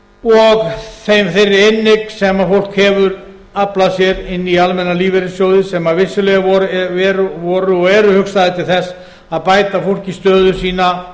og þeirri inneign sem fólk hefur aflað sér inn í almenna lífeyrissjóði sem vissulega voru og eru hugsaðir til þess að bæta fólki stöðu sína